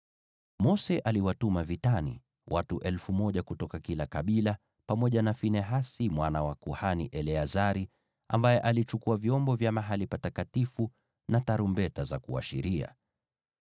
Mose aliwatuma vitani, watu 1,000 kutoka kila kabila, pamoja na Finehasi mwana wa kuhani Eleazari, ambaye alichukua vyombo vya mahali patakatifu na tarumbeta za kuashiria.